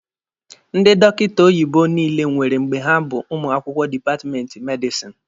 Ndị dọkịta oyibo niile nwere mgbe ha bụ ụmụ akwụkwọ dipatmenti medisini